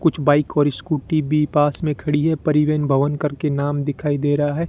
कुछ बाइक और स्कूटी भी पास में खड़ी है परिवहन भवन करके नाम दिखाई दे रहा है।